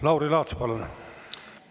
Lauri Laats, palun!